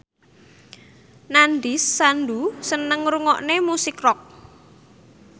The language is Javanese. Nandish Sandhu seneng ngrungokne musik rock